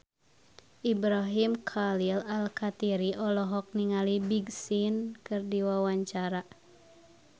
Ibrahim Khalil Alkatiri olohok ningali Big Sean keur diwawancara